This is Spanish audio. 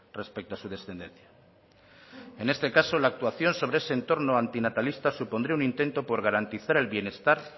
respecto a su descendencia en este caso la actuación sobre ese entorno antinatalista supondría un intento por garantizar el bienestar